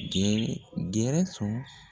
Gɛrɛ gɛrɛsɔn